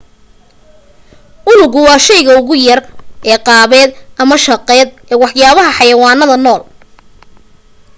unugu waa shayga ugu yar ee qaabeed ama shaqeed ee waxyaalaha xayawaanada nool